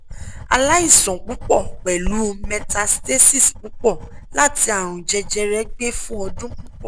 alaisan pupo pelu metastasis pupo lati arun jejere gbe fun odun pupo